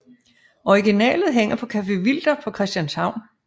Originalet hænger på Café Wilder på Christianshavn